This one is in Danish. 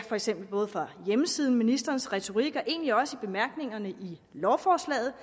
for eksempel både for hjemmesiden ministerens retorik og egentlig også i bemærkningerne til lovforslaget